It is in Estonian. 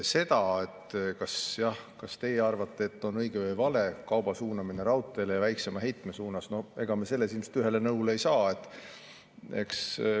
Ega me selles, kas on õige või vale kauba suunamine raudteele ja väiksema heite suunas, me teiega ilmselt ühele nõule ei saa.